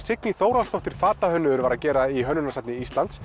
Signý Þórhallsdóttir hefur verið að gera í hönnunarsafni Íslands